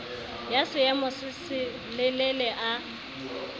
ya seemo se selelele ya